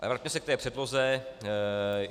Ale vraťme se k té předloze.